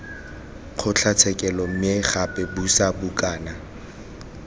kgotlatshekelo mme gape buisa bukana